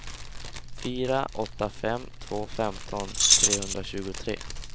fyra åtta fem två femton trehundratjugotre